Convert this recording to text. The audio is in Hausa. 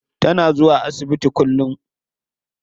Tana zuwa asibiti kullum.